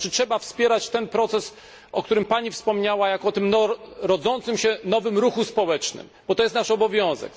Trzeba wspierać ten proces, o którym Pani wspomniała, jako o tym rodzącym się nowym ruchu społecznym, bo to jest nasz obowiązek.